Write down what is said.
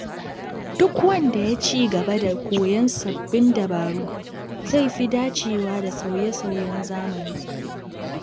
Duk wanda ya ci gaba da koyon sabbin dabaru zai fi dacewa da sauye-sauyen zamani.